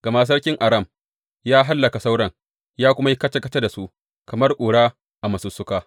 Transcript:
Gama sarkin Aram ya hallaka sauran, ya kuma yi kaca kaca da su kamar ƙura a masussuka.